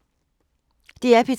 DR P3